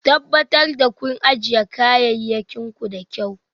Tabbatar da kun ajiye kayayyakin ku da kyau.